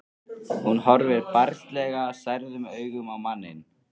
Hún horfir barnslega særðum augum á manninn.